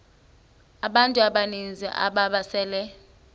abantu abaninzi ababesele